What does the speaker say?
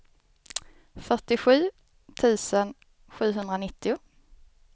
fyrtiosju tusen sjuhundranittio